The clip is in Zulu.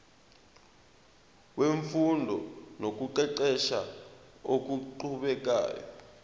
wemfundo nokuqeqesha okuqhubekayo